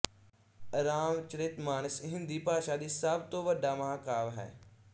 ਰਾਮਚਰਿਤ ਮਾਨਸ ਹਿੰਦੀ ਭਾਸ਼ਾ ਦੀ ਸਭ ਤੋਂ ਵੱਡਾ ਮਹਾਂਕਾਵਿ ਹੈ